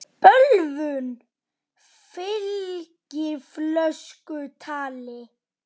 Bölvun fylgir fölsku tali.